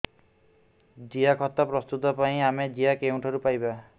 ଜିଆଖତ ପ୍ରସ୍ତୁତ ପାଇଁ ଆମେ ଜିଆ କେଉଁଠାରୁ ପାଈବା